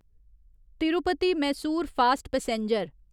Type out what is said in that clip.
Tirupati Mysore fast passenger